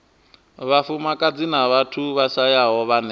vhafumakadzi na vhathu vhashayaho vhane